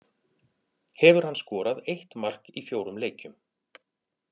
Hefur hann skorað eitt mark í fjórum leikjum.